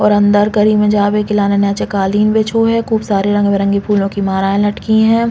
और अंदर गली में जावे के लाने नीचे कालीन बिछो है। खूब सारे रंग-बिरंगे फूलो के माला लटकी है।